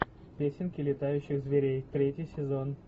песенки летающих зверей третий сезон